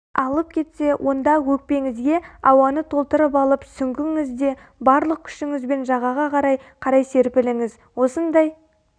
алып кетсе онда өкпеңізге ауаны толтырып алып сүңгіңізде барлық күшіңізбен жағаға қарай қарай серпіліңіз осындай